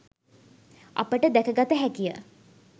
අපට දැකගත හැකිය